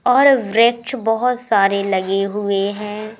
और वृक्ष बहोत सारे लगे हुए हैं।